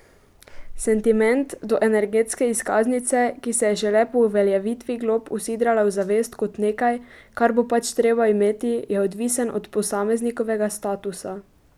Sentiment do energetske izkaznice, ki se je šele po uveljavitvi glob usidrala v zavest kot nekaj, kar bo pač treba imeti, je odvisen od posameznikovega statusa.